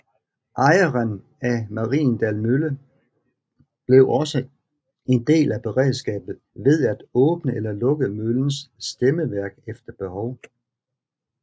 Ejeren af Mariendal Mølle blev også en del af beredskabet ved at åbne eller lukke møllens stemmeværk efter behov